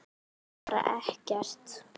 Bara ekkert.